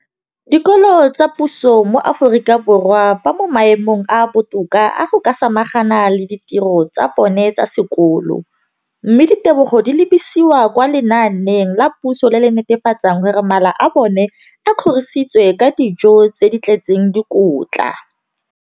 dikolo tsa puso mo Aforika Borwa ba mo maemong a a botoka a go ka samagana le ditiro tsa bona tsa sekolo, mme ditebogo di lebisiwa kwa lenaaneng la puso le le netefatsang gore mala a bona a kgorisitswe ka dijo tse di tletseng dikotla.